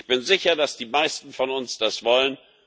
Ich bin sicher, dass die meisten von uns das wollen.